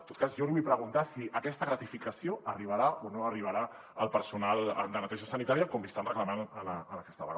en tot cas jo li vull preguntar si aquesta gratificació arribarà o no arribarà al personal de neteja sanitària com li estan reclamant en aquesta vaga